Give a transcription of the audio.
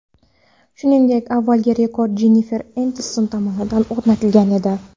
Shuningdek, avvalgi rekord Jennifer Enniston tomonidan o‘rnatilgan edi.